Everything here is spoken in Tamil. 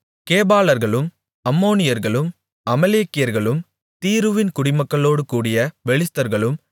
கேபாலர்களும் அம்மோனியர்களும் அமலேக்கியர்களும் தீருவின் குடிமக்களோடுகூடிய பெலிஸ்தர்களும்